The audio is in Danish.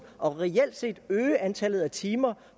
og reelt set øge antallet af timer